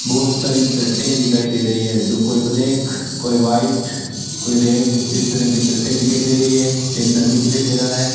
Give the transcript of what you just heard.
बहोत सारी शरटें दिखाई दे रही है जो कोई ब्लैक कोई व्हाइट कोई रेड इस तरह की शरटें दिखाई दे रही है एक डम्मी दिखाई दे रहा है।